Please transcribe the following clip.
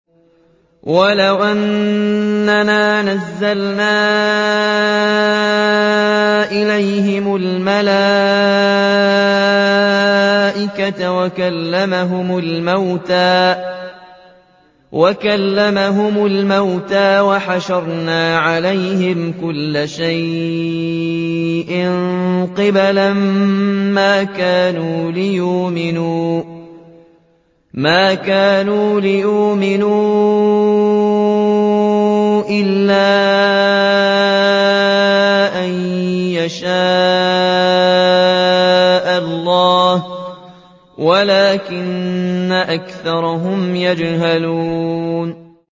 ۞ وَلَوْ أَنَّنَا نَزَّلْنَا إِلَيْهِمُ الْمَلَائِكَةَ وَكَلَّمَهُمُ الْمَوْتَىٰ وَحَشَرْنَا عَلَيْهِمْ كُلَّ شَيْءٍ قُبُلًا مَّا كَانُوا لِيُؤْمِنُوا إِلَّا أَن يَشَاءَ اللَّهُ وَلَٰكِنَّ أَكْثَرَهُمْ يَجْهَلُونَ